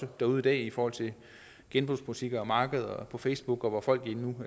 derude i dag i forhold til genbrugsbutikker og markeder og også på facebook og hvor folk nu